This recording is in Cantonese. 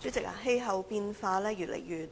主席，氣候變化加劇，